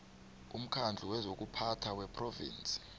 umkhandlu wezokuphatha wephrovinsi